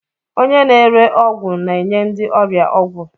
Onye na-ere ọgwụ na-enye ndị ọrịa ọgwụ.